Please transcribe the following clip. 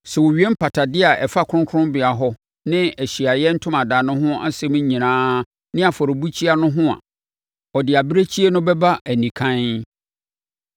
“Sɛ ɔwie mpatadeɛ a ɛfa kronkronbea hɔ ne Ahyiaeɛ Ntomadan no ho nsɛm nyinaa ne afɔrebukyia no ho a, ɔde abirekyie no bɛba anikann